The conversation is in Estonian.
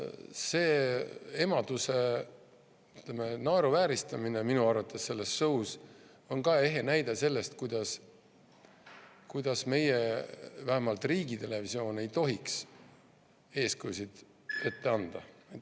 Selline emaduse, ütleme, naeruvääristamine minu arvates selles show's on ka ehe näide sellest, kuidas vähemalt meie riigitelevisioon ei tohiks eeskujusid ette anda.